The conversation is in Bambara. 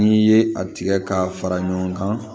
N'i ye a tigɛ k'a fara ɲɔgɔn kan